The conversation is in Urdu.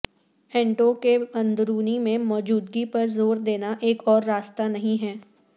اینٹوں کے اندرونی میں موجودگی پر زور دینا ایک اور راستہ نہیں ہے